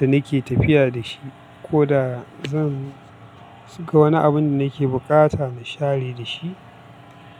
da nake tafiya da shi. Ko da zan ga wani abun da nake bukata na share da shi.